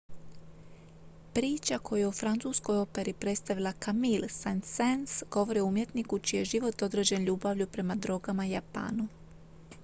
priča koju je u francuskoj operi predstavila camille saint-saens govori o umjetniku čiji je život određen ljubavlju prema drogama i japanu